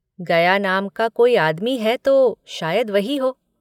गया नाम का कोई आदमी है तो शायद वही हो